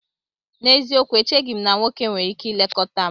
N'eziokwu! Echeghị m na nwoke nwere ike ilekọta m